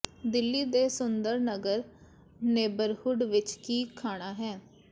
ਦਿੱਲੀ ਦੇ ਸੁੰਦਰ ਨਗਰ ਨੇਬਰਹੁੱਡ ਵਿਚ ਕੀ ਖਾਣਾ ਹੈ